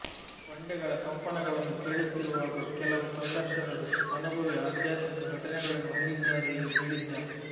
ಬಂಡೆಗಳ ಕಂಪನಗಳನ್ನು ಕೇಳುತ್ತಿರುವಾಗ ಕೆಲವು ಸಂದರ್ಶಕರು ಅನುಭವಿ ಆಧ್ಯಾತ್ಮಿಕ ಘಟನೆಗಳನ್ನು ಹೊಂದಿದ್ದಾರೆ ಎಂದು ಹೇಳಿದ್ದಾರೆ